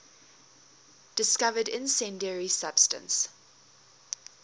discovered incendiary substance